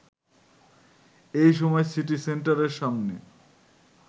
এই সময় সিটি সেন্টারের সামনে